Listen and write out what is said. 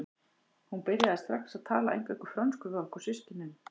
Hún byrjaði strax að tala eingöngu frönsku við okkur systkinin.